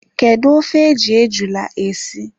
Kedu ofe e ji ejula esi?